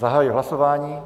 Zahajuji hlasování.